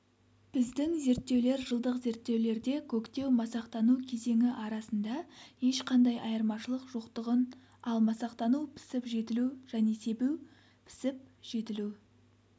біздің зерттеулер жылдық зерттеулерде көктеу-масақтану кезеңі арасында ешқандай айырмашылық жоқтығын ал масақтану - пісіп-жетілу және себу - пісіп-жетілу